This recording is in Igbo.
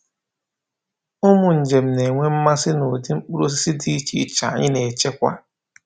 Ụmụ njem na-enwe mmasị na ụdị mkpụrụ osisi dị iche iche anyị na-echekwa.